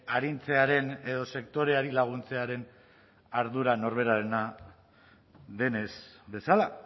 arintzearen edo sektoreari laguntzearen ardura norberarena den ez bezala